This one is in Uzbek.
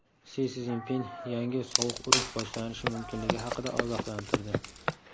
Si Szinpin yangi sovuq urush boshlanishi mumkinligi haqida ogohlantirdi.